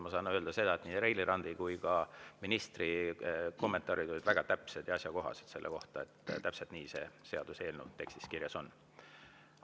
Ma saan öelda seda, et nii Reili Ranna kui ka ministri kommentaarid selle kohta olid väga täpsed ja asjakohased, täpselt nii see seaduseelnõu tekstis kirjas on.